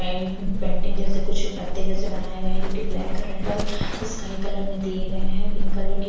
एक पेंटिंग जैसे कुछ पत्ते जैसे बनाए हुए है जो की ब्लैक रेड और स्काई कलर में दिए गए है पिंक कलर के--